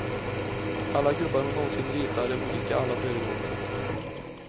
Alla gubbar hon nånsin ritar är olika alla föregående.